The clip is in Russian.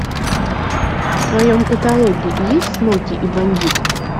в твоем каталоге есть смоки и бандит